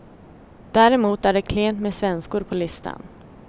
Däremot är det klent med svenskor på listan.